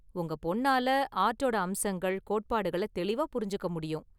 உங்கள் பொண்ணால ஆர்டோட அம்சங்கள், கோட்பாடுகளை தெளிவா புரிஞ்சிக்க முடியும்.